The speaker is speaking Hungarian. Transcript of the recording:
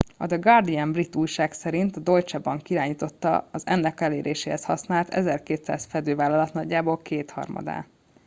a the guardian brit újság szerint a deutsche bank irányította az ennek eléréséhez használt 1200 fedővállalat nagyjából kétharmadát